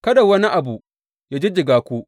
Kada wani abu yă jijjiga ku.